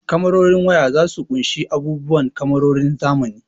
Kamarorin waya zasu ƙunshi abubuwa kamarorin zamani.